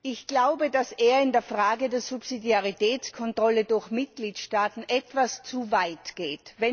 Ich glaube, dass er in der Frage der Subsidiaritätskontrolle durch Mitgliedstaaten etwas zu weit geht.